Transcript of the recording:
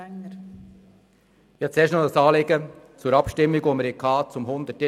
der SiK. Ich habe ein Anliegen zur Abstimmung über Artikels 181 Absatz 2.